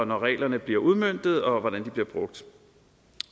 når reglerne bliver udmøntet og hvordan de bliver brugt